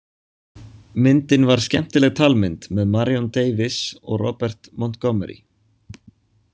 Myndin var skemmtileg talmynd með Marion Davies og Robert Montgomery.